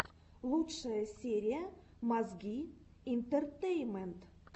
лучшая серия мозги интертеймент